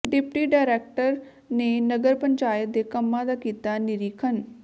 deputy director ਨੇ ਨਗਰ ਪੰਚਾਇਤ ਦੇ ਕੰਮਾਂ ਦਾ ਕੀਤਾ ਨਿਰੀਖਣ